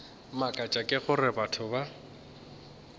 mmakatša ke gore batho ba